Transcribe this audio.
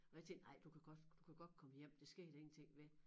Og jeg tænkte ej du kan godt du kan godt komme hjem det sker der ingenting ved